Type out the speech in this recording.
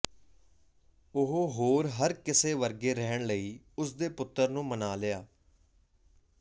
ਉਹ ਹੋਰ ਹਰ ਕਿਸੇ ਵਰਗੇ ਰਹਿਣ ਲਈ ਉਸ ਦੇ ਪੁੱਤਰ ਨੂੰ ਮਨਾ ਲਿਆ